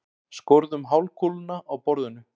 Skorðum hálfkúluna á borðinu.